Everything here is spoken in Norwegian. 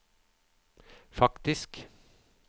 faktisk